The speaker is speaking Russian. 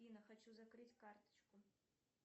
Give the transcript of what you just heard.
афина хочу закрыть карточку